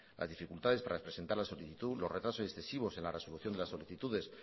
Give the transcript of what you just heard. las dificultades para presentar la solicitud los retrasos excesivos en la resolución de las solicitudes